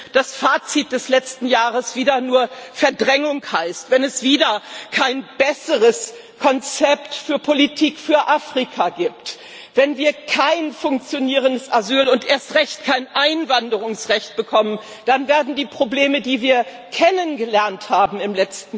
Wenn das Fazit des letzten Jahres wieder nur Verdrängung heißt, wenn es wieder kein besseres Konzept für Politik für Afrika gibt, wenn wir kein funktionierendes Asyl und erst recht kein Einwanderungsrecht bekommen, dann werden die Probleme, die wir im letzten Jahr kennengelernt haben, in